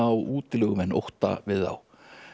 á útilegumenn ótta við þá